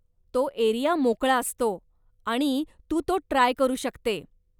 तो एरिया मोकळा असतो, आणि तू तो ट्राय करू शकते.